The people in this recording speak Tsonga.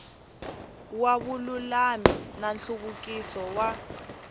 wa vululami na nhluvukiso wa